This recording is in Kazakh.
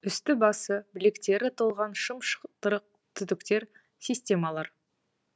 үсті басы білектері толған шым шытырық түтіктер системалар